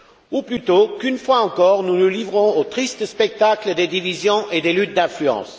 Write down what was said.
Ou plutôt, qu'une fois encore, nous nous livrons au triste spectacle des divisions et des luttes d'influence?